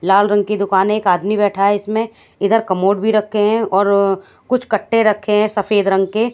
लाल रंग की दुकान एक आदमी बैठा है इसमें इधर कमोड भी रखे हैं और कुछ कट्टे रखे है सफेद रंग के।